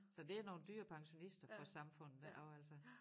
Så det er nogle dyre pensionister for samfundet ik og altså